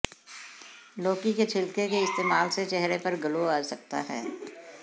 लौकी के छिलके के इस्तेमाल से चेहरे पर ग्लो आ सकता है